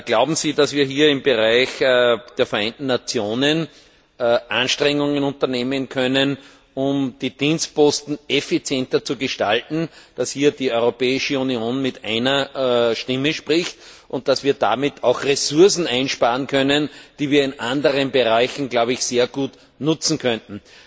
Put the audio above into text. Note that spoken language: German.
Glauben Sie, dass wir im Bereich der Vereinten Nationen Anstrengungen unternehmen können, um die Dienstposten effizienter zu gestalten, damit die Europäische Union hier mit einer Stimme spricht, und dass wir damit auch Ressourcen einsparen können, die wir in anderen Bereichen sehr gut nutzen könnten?